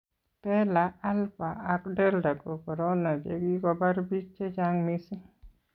bela alpha ak delta ko korona che kikobar bik chechang mising